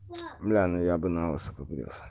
бля ну я бы налысо побрился